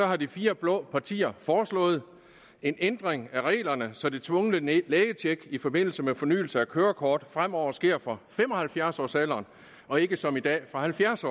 har de fire blå partier foreslået en ændring af reglerne så det tvungne lægetjek i forbindelse med fornyelse af kørekort fremover sker fra fem og halvfjerds årsalderen og ikke som i dag fra halvfjerds